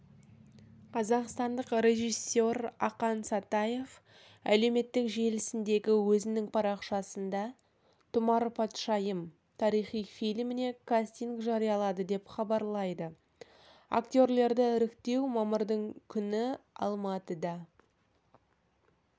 қазақстандық режиссер ақан сатаев әлеуметтік желісіндегі өзінің парақшасында тұмар патшайым тарихи фильміне кастинг жариялады деп хабарлайды актерлерді іріктеу мамырдың күні алматыда